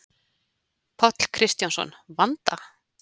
Páll Kristjánsson: Vanda?